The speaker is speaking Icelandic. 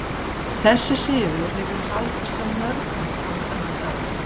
Þessi siður hefur haldist hjá mörgum fram á þennan dag.